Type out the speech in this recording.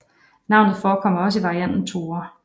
Navnet forekommer også i varianten Thore